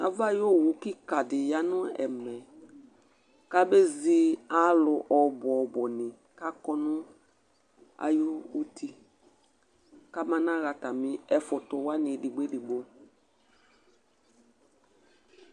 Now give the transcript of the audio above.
Ava ayʋ owʋ kìka ɖi ya ŋu ɛmɛ kʋ abezi alu ɔbʋ ɔbʋ ni kʋ akɔ ŋu ayʋ uti kaba naha atami ɛfʋtu waŋi ɛɖigbo ɛɖigbo